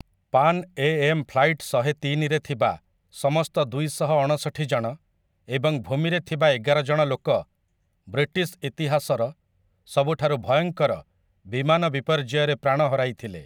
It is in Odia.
PAN Am. ଫ୍ଲାଇଟ୍‌ ଶହେତିନି'ରେ ଥିବା ସମସ୍ତ ଦୁଇଶହ ଅଣଷଠି ଜଣ, ଏବଂ ଭୂମିରେ ଥିବା ଏଗାର ଜଣ ଲୋକ, ବ୍ରିଟିଶ ଇତିହାସର ସବୁଠାରୁ ଭୟଙ୍କର ବିମାନ ବିପର୍ଯ୍ୟୟରେ ପ୍ରାଣ ହରାଇଥିଲେ ।